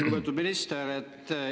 Lugupeetud minister!